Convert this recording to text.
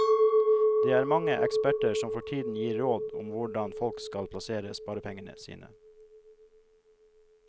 Det er mange eksperter som for tiden gir råd om hvordan folk skal plassere sparepengene sine.